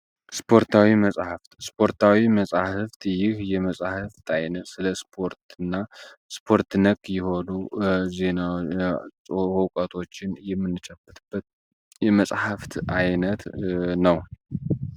ስፖርታዊ መጻሕፍት ስፖርታዊ መጻሕፍት ይህ የመጻሕፍት አይነት ስለ ስፖርት እና ስፖርት ነክ የሆኑ ዕውቀቶችን የምንጨብጥበት የመጻሕፍት ዓይነት ነው።